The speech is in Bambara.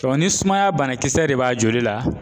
ni sumaya banakisɛ de b'a joli la